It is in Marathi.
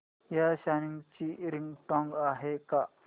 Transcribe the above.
या सॉन्ग ची रिंगटोन आहे का